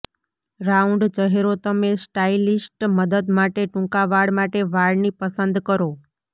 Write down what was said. round ચહેરો તમે stylist મદદ માટે ટૂંકા વાળ માટે વાળની પસંદ કરો